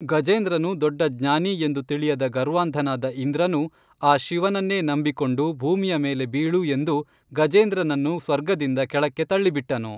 ಗಜೇಂದ್ರನು ದೊಡ್ಡಜ್ಞಾನಿ ಎಂದು ತಿಳಿಯದ ಗರ್ವಾಂಧನಾದ ಇಂದ್ರನು ಆ ಶಿವನನ್ನೇ ನಂಬಿಕೊಂಡು ಭೂಮಿಯ ಮೇಲೆ ಬೀಳು ಎಂದು ಗಜೇಂದ್ರನನ್ನು ಸ್ವರ್ಗದಿಂದ ಕೆಳಕ್ಕೆ ತಳ್ಳಿ ಬಿಟ್ಟನು